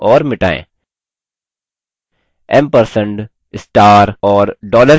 ampersand star और dollar चिह्नों को पाँच बार प्रविष्ट करें